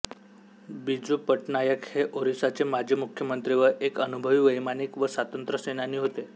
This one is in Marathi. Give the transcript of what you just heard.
बिजू पटनायक हे ओरिसाचे माजी मुख्यमंत्री व एक अनुभवी वैमानिक व स्वातंत्र्य सेनानी होते